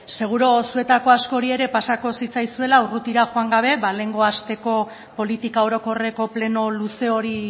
seguru zuetako askori ere pasako zitzaizuela urrutira joan gabe ba lehengo asteko politika orokorreko pleno luze hori